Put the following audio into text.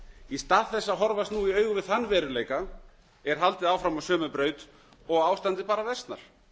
í stað þess að horfast nú í augu við þann veruleika er haldið áfram á sömu braut og ástandið bara versnar